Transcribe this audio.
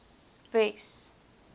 wes